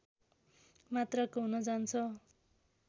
मात्राको हुन जान्छ